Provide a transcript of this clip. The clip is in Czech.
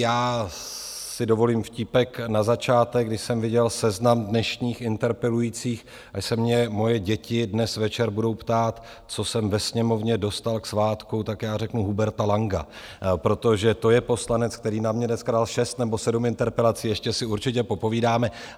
Já si dovolím vtípek na začátek: když jsem viděl seznam dnešních interpelujících, až se mě moje děti dnes večer budou ptát, co jsem ve Sněmovně dostal k svátku, tak já řeknu: Huberta Langa, protože to je poslanec, který na mě dneska dal šest nebo sedm interpelací, ještě si určitě popovídáme.